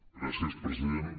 gràcies president